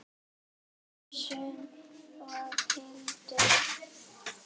Ólöf, Sunna og Hildur.